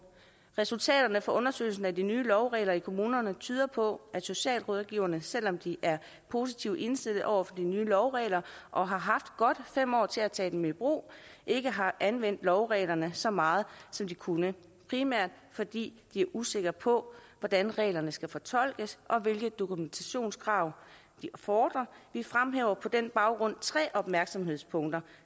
resultaterne fra undersøgelsen af de nye lovregler i kommunerne tyder på at socialrådgiverne selvom de er positivt indstillede over for de nye lovregler og har haft godt fem år til at tage dem i brug ikke har anvendt lovreglerne så meget som de kunne primært fordi de er usikre på hvordan reglerne skal fortolkes og hvilke dokumentationskrav de fordrer vi fremhæver på den baggrund tre opmærksomhedspunkter